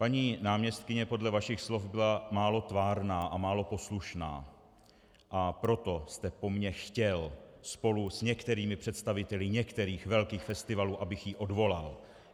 Paní náměstkyně podle vašich slov byla málo tvárná a málo poslušná, a proto jste po mně chtěl spolu s některými představiteli některých velkých festivalů, abych ji odvolal.